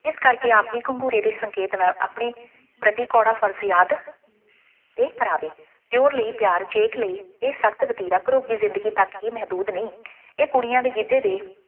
ਇਸ ਕਰਕੇ ਆਪ ਜੀ ਘੰਘੂਰੇ ਦੇ ਸੰਕੇਤ ਨਾਲ ਆਪਣੀ ਪ੍ਰਤੀ ਕੌੜਾ ਫਰਜ਼ ਯਾਦ ਇਹ ਕਰਾਵੇ, ਦਿਓਰ ਲਈ ਪਿਆਰ, ਜੇਠ ਲਈ ਇਹ ਸਖਤ ਵਤੀਰਾ, ਦੀ ਜ਼ਿੰਦਗੀ ਤੱਕ ਹੀ ਮਹਿਦੂਦ ਨਹੀਂ, ਇਹ ਕੁੜੀਆਂ ਦੇ ਗਿੱਧੇ ਦੇ